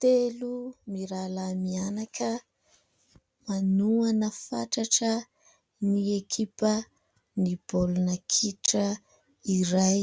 Telo mirahalahy mianaka manohana fatratra ny ekipa ny baolina kitra iray